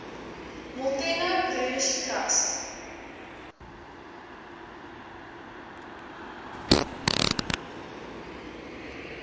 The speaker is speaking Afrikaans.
molteno broers trust